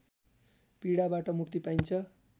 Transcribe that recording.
पीडाबाट मुक्ति पाइन्छ